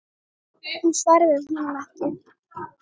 Hún svaraði honum ekki.